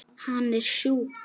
Hann er sjúkur.